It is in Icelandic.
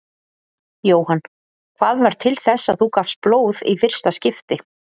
Jóhann: Hvað varð til þess að þú gafst blóð í fyrsta skipti?